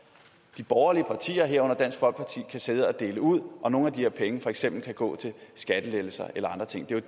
de borgerlige partier herunder dansk folkeparti kan sidde og dele ud og nogle af de her penge for eksempel kan gå til skattelettelser eller andre ting